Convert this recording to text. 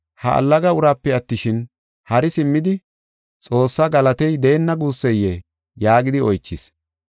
Ha allaga uraape attishin, hari simmidi Xoossa galatey deenna guusseyee?” yaagidi oychis.